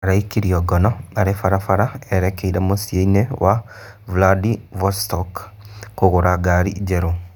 Araikirio ngono arĩ barabara erekeire mũciĩ-inĩ wa Vladivostok kũgũra ngari njerũ